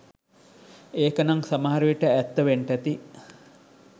ඒකනං සමහරවිට ඇත්ත වෙන්ටැති